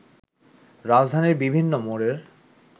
রাজধানীর বিভিন্ন মোড়ের